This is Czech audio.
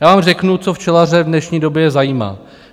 Já vám řeknu, co včelaře v dnešní době zajímá.